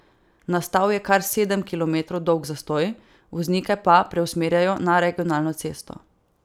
Nastal je kar sedem kilometrov dolg zastoj, voznike pa preusmerjajo na regionalno cesto.